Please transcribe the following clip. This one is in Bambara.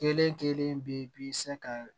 Kelen kelen bi bi se ka